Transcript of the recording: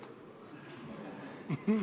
Ei olnud.